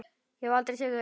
Ég hef aldrei séð þau!